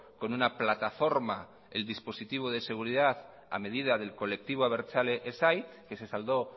con una plataforma el dispositivo de seguridad a medida del colectivo abertzale esai que se saldó